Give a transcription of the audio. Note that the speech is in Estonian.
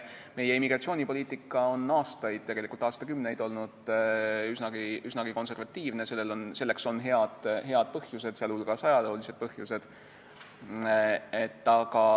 Meie immigratsioonipoliitika on aastaid, tegelikult aastakümneid olnud üsnagi konservatiivne, selleks on head põhjused, sh ajaloolised põhjused.